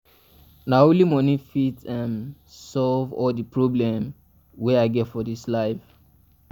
um na only moni fit um solve all di problem wey i get for dis life.